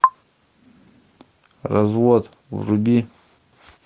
развод вруби